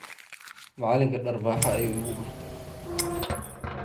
Macalinka dharbaxa ayu ikudufte .